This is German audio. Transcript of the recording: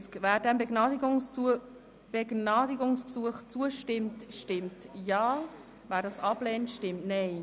Wer diesem Begnadigungsgesuch zustimmt, stimmt Ja, wer es ablehnt, stimmt Nein.